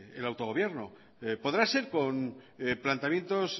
del autogobierno podrá ser con planteamientos